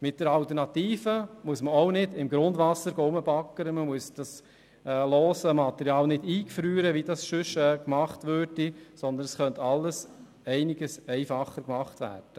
Mit der Alternative müsste man auch nicht im Grundwasser baggern, man müsste das lose Material nicht eingefrieren, wie das sonst gemacht wird, sondern man könnte alles viel einfacher machen.